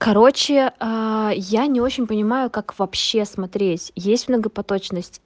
короче я не очень понимаю как вообще смотреть есть многопоточность